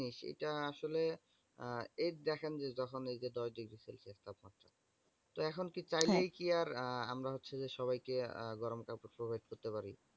যেটা আসলে আহ এই দেখেন যে, যখন এইযে দশ degree celsius তাপমাত্রা তো এখন কি চাইলেই আর আহ আমরা হচ্ছে যে সবাইকে আহ গরম কাপড় provide করতে পারি?